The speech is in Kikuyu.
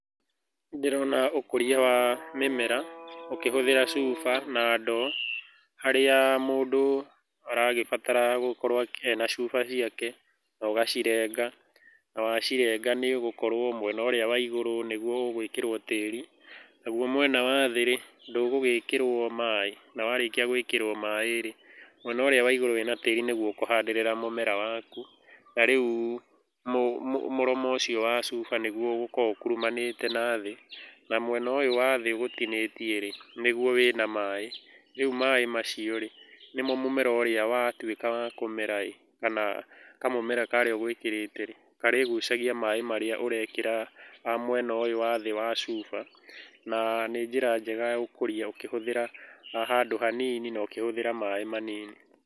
Ndĩrona ũkũria wa mĩmera ũkĩhũthĩra cuba na ndoo, harĩa mũndũ aragĩbatara gũkorwo ena cuba ciake, ũgacirenga na wacirenga nĩ ũgũkorwo mwena ũrĩa wa igũrũ nĩguo ũgũĩkirwo tĩri, naguo mwena wa thĩ-rĩ ndũgũgĩkĩrwo maaĩ, na warĩkĩa gũĩkĩrwo maaĩ-rĩ mwena ũrĩa wa igũrũ wĩna tĩri nĩguo ũkũhandĩrĩra mũmera waku na rĩu mũromo ũcio wa cuba nĩguo ũgũkorwo ũkurumanĩte nathĩ na mwena ũyũ wa thĩ ũgũtinĩtie-rĩ nĩguo wĩ na maaĩ, rĩu maaĩ macio-rĩ nĩmo mũmera ũrĩa watuĩka wa kũmera ĩ kana kamũmera karĩa ũgũĩkĩrĩte karĩgũcagia maaĩ marĩa ũrekĩra mwena ũyũ wa thĩ wa cuba, na nĩ njĩra njega ya ũkũrĩa ũkihũthĩra handũ hanini na ũkĩhuthĩra maaĩ manini.